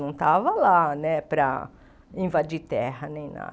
Não estava lá né para invadir terra nem nada.